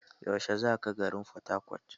Yaushe za ka garin Fatakwat?